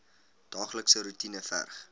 daaglikse roetine verg